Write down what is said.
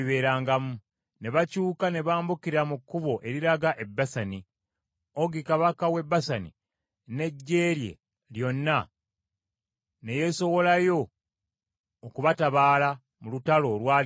Ne bakyuka ne bambukira mu kkubo eriraga e Basani. Ogi kabaka w’e Basani n’eggye lye lyonna ne yeesowolayo okubatabaala mu lutalo olwali mu Ederei.